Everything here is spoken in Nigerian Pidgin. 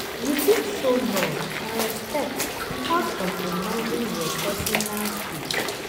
You fit show love and respect without compromising your pesinal space.